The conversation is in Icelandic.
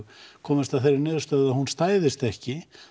komist að þeirri niðurstöðu að hún stæðist ekki